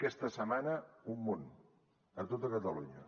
aquesta setmana un munt a tota catalunya